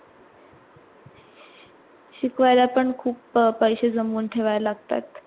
शिकवायला पण खूप अं पैशे जमून ठेवायला लागतात.